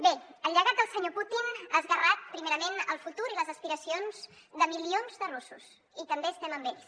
bé el llegat del senyor putin ha esgarrat primerament el futur i les aspiracions de milions de russos i també estem amb ells